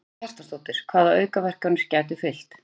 Karen Kjartansdóttir: Hvaða aukaverkanir gætu fylgt?